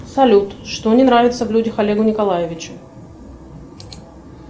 салют что не нравится в людях олегу николаевичу